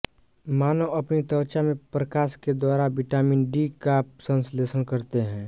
मानव अपनी त्वचा में प्रकाश के द्वारा विटामिन डी का संश्लेषण करते हैं